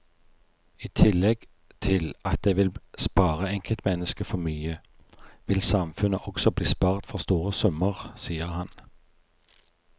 I tillegg til at det vil spare enkeltmennesket for mye, vil samfunnet også bli spart for store summer, sier han.